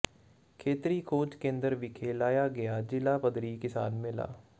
ਖੇਤਰੀ ਖੋਜ ਕੇਂਦਰ ਵਿਖੇ ਲਾਇਆ ਗਿਆ ਜ਼ਿਲ੍ਹਾ ਪੱਧਰੀ ਕਿਸਾਨ ਮੇਲਾ